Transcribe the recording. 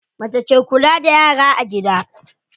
Mace ke kula da yara a gida.